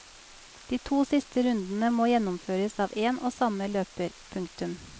De to siste rundene må gjennomføres av én og samme løper. punktum